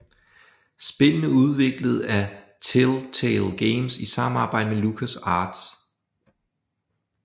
Spillene udviklet af Telltale Games i samarbejde med LucasArts